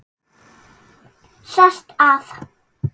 Sest að.